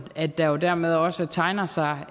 at der jo dermed også tegner sig